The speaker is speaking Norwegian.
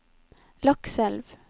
Lakselv